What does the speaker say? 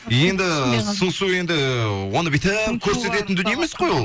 енді сыңсу енді оны бүйтіп көрсететін дүние емес қой ол